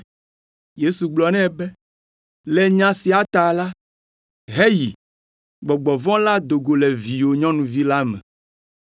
Yesu gblɔ nɛ be, “Le nya sia ta la, heyi, gbɔgbɔ vɔ̃ la do go le viwò nyɔnuvi la me.”